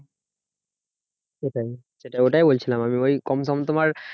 সেটাই ওটাই বলছিলাম আমি ওই কম সম তোমার